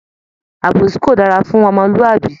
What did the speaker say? Àbòsí kò dára fún omolúàbí